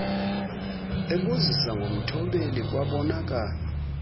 ebuzisa ngomthobeli kwabonakala